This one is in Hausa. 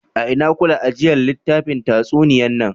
A'ina kula ajiyan littafin tatsuniya nan?